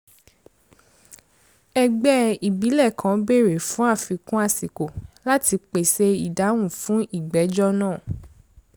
ègbè ìbílẹ̀ kan béèrè fún àfikún àsìkò láti pèsè ìdáhùn fún ìgbẹ́jọ́ náà